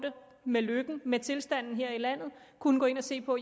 med lykken med tilstanden her i landet kunne gå ind og se på